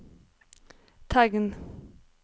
tegn